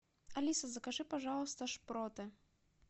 алиса закажи пожалуйста шпроты